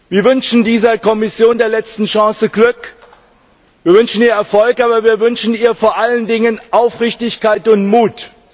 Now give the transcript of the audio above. Wir wünschen dieser Kommission der letzten Chance Glück, wir wünschen ihr Erfolg, aber wir wünschen ihr vor allen Dingen Aufrichtigkeit und Mut.